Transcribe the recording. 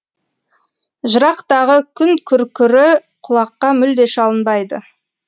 жырақтағы күн күркірі құлаққа мүлде шалынбайды